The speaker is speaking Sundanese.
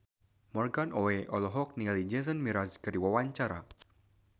Morgan Oey olohok ningali Jason Mraz keur diwawancara